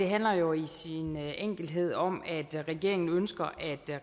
handler jo i sin enkelhed om at regeringen ønsker